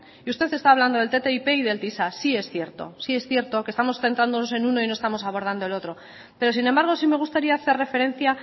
y usted está hablando del ttip y del tisa sí es cierto sí es cierto que estamos centrándonos en uno y no estamos abordando el otro pero sin embargo sí me gustaría hacer referencia